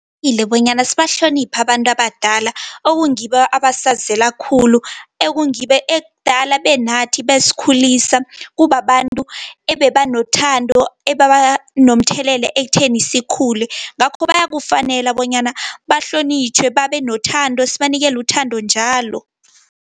Qakathekile bonyana sibahloniphe abantu abadala, okungibo abasazela khulu, ekungibo ekudala benathi besikhulisa. Kubabantu ebebanothando, ebebanomthelela ekutheni sikhule. Ngakho bayakufanele bonyana bahlonitjhwe, babenothando sibanikelu uthando njalo.